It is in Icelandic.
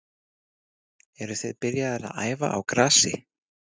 Eruð þið byrjaðir að æfa á grasi?